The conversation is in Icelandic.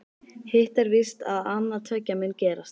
Hitt er víst að annað tveggja mun gerast.